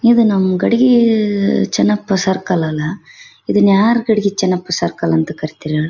ಇದು ನಮ್ಮ ಗಡಿಗಿ ಅಹ್ ಚನ್ನಪ್ಪ ಸರ್ಕಲ್ ಅಲ್ಲಾ ಇದನ್ನ ಯಾರ್ ಗಡಿಗಿ ಚನ್ನಪ್ಪ ಸರ್ಕಲ್